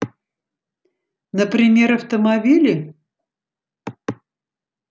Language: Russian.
например автомобили